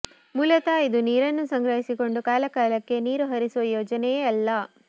ಮೂಲತಃ ಇದು ನೀರನ್ನು ಸಂಗ್ರಹಿಸಿಕೊಂಡು ಕಾಲ ಕಾಲಕ್ಕೆ ನೀರು ಹರಿಸುವ ಯೋಜನೆಯೇ ಅಲ್ಲ